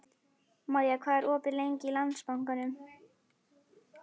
Maja, hvað er opið lengi í Landsbankanum?